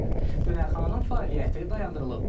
Dönərxananın fəaliyyəti dayandırılıb.